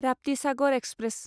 Raptisagar express